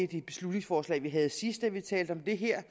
det beslutningsforslag vi havde sidst da vi talte om det her